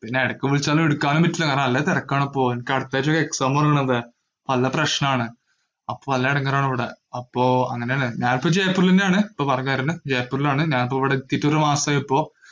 പിന്നെ എടക്ക് വിളിച്ചാലും എടുക്കാനും പറ്റില്ല, കാരണം നല്ല തെരക്കാണിപ്പോ, എനിക്ക് അടുത്താഴ്ച ഒരു exam ഉള്ളതാ, പല പ്രശ്നാണ്, അപ്പൊ നല്ല എടങ്ങാറാണ് ഇവിടെ. അപ്പൊ അങ്ങനെയല്ലേ, ഞാൻ ഇപ്പൊ ജയ്‌പ്പൂരിലെന്നെയാണ്. ഇപ്പൊ work വരുന്നെ ജയ്‌പ്പൂരിലാണ്, ഞാനിപ്പൊ ഇവിടെ എത്തിയിട്ട് ഒരു മാസായി ഇപ്പോ.